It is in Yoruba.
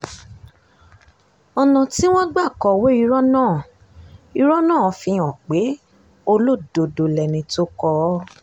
ọ̀nà tí wọ́n gbà kọ̀wé irọ́ náà irọ́ náà fihàn pé olódó lẹni tó kọ ọ́